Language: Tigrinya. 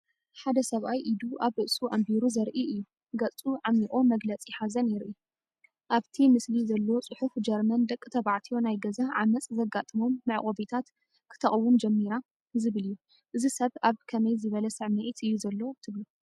ሓደ ሰብኣይ ኢዱ ኣብ ርእሱ ኣንቢሩ ዘርኢ እዩ። ገጹ ዓሚቝ መግለጺ ሓዘን የርኢ። ኣብቲ ምስሊ ዘሎ ጽሑፍ "ጀርመን ንደቂ ተባዕትዮ ናይ ገዛ ዓመጽ ዘጋጥሞም መዕቆቢታት ከተቕውም ጀሚራ"ዝብል እዩ። እዚ ሰብ ኣብ ከመይ ዝበለ ስሚዒት እዩ ዘሎ ትብሉ?